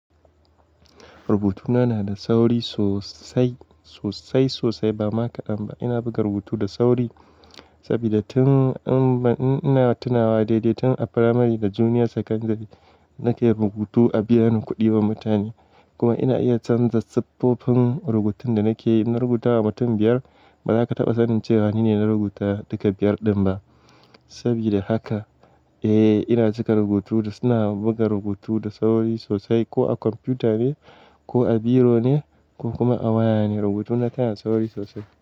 Rubutuna na da sauri sosai, sosai-sosai ba ma kaɗan ba. Ina buga rubutu da sauri saboda tun ina tunawa daidai tun a primary da junior secondary na ke rubutu a biyani kuɗi wa mutane. Kuma ina iya canza siffofin rubutun da na ke in na rubutawa mutum biyar ba za ka taɓa sanin cewa ni ne na rubuta duka biyar ɗin ba. Saboda haka, eh ina cika rubutu da suna buga rubutu da sauri sosai ko a kwamfuta ne ko a biro ne ko kuma a waya ne rubutuna yana da sauri sosai.